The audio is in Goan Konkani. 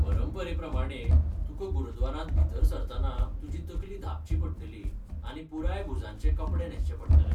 परंपरेप्रमाणें , तुका गुरद्वारांत भितर सरतना तुजी तकली धांपची पडटली आनी पुराय भुजांचे कपडे न्हेसचे पडटले.